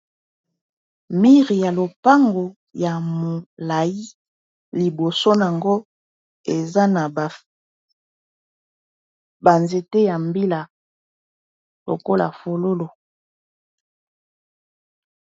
Mire ya lopango ya molai liboso ango eza na banzete ya mbila lokola fololo.